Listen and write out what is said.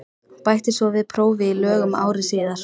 Bætti svo við prófi í lögum ári síðar.